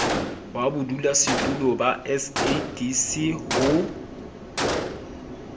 wa bodulasetulo ba sadc ho